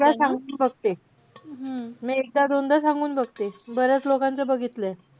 मी एकदा सांगून बघते. मी एकदा दोनदा सांगून बघते. बऱ्याच लोकांचं बघितलय.